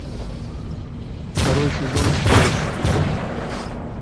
второй сезон флэш